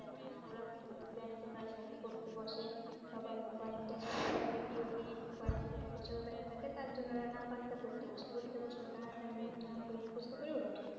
পড়তে বসে সবার mobile তা video game mobile যদি দেখো সবার backpack এ তার জন্য আমরা না পড়তে পড়তে বসে পড়তে বসে তারা তারই ধূমধ্যম করে মুখস্ত করে ওড়া উঠে যা